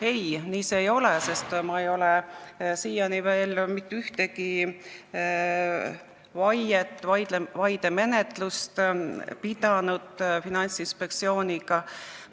Ei, nii see ei ole, sest mul ei ole siiani veel mitte ühtegi vaidemenetlust Finantsinspektsiooniga olnud.